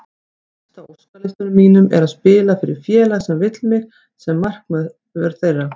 Efst á óskalistanum mínum er að spila fyrir félag sem vill mig sem markvörð þeirra.